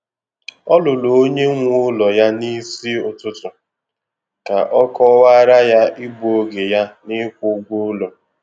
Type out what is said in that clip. O ruru onye nwe ụlọ ya n'isi ụtụtụ ka ọ kọwaara ya igbu oge ya n'ịkwụ ụgwọ ụlọ.